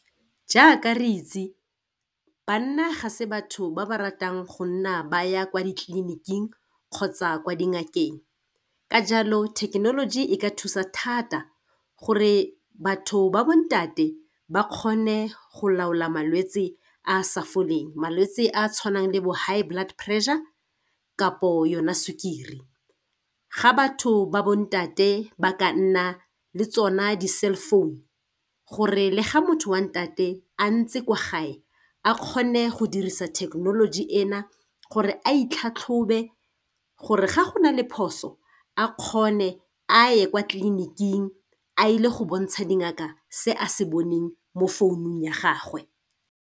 Jaaka re itse, banna ga se batho ba ba ratang go nna ba ya kwa ditleliniking, kgotsa kwa dingakeng. Ka jalo, thekenoloji e ka thusa thata gore batho ba bontate ba kgone go laola malwetse a a sa foleng. Malwetse a a tshwanang le bo high blood pressure, kampo yona sukiri. Ga batho ba bontate ba ka nna le tsona di-cellphone, gore le ga motho wa ntate a ntse kwa gae, a kgone go dirisa thekenoloji ena, gore a itlhatlhobe gore ga go na le phoso, a kgone a ye kwa tleliniking a ile go bontsha dingaka se a se boneng mo founung ya gagwe.